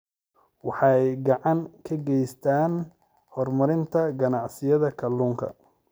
Waxay gacan ka geystaan ??horumarinta ganacsiyada kalluunka.